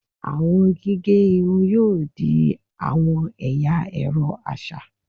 Awọn gige irun yoo di awọn ẹya ẹrọ aṣa